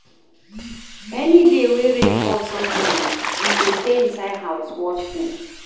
Any day wey rain fall sudden, we go stay inside house, watch film.